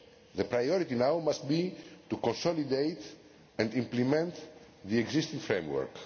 The priority now must be to consolidate and implement the existing framework.